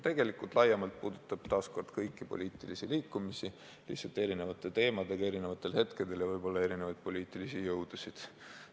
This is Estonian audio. Tegelikult laiemalt puudutab see taas kord kõiki poliitilisi liikumisi, lihtsalt seoses erinevate teemadega erinevatel hetkedel, ja võib-olla ka erinevaid poliitilisi jõudusid.